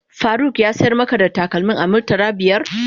Faruk ya sayar maka da takalmin a murtala biyar?